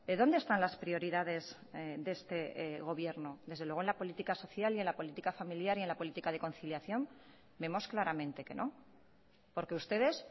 dónde están las prioridades de este gobierno desde luego en la política social y en la política familiar y en la política de conciliación vemos claramente que no porque ustedes